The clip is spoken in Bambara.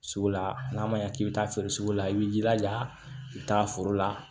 Sugu la n'a ma ɲɛ k'i bɛ taa feere sugu la i b'i jilaja i bɛ taa foro la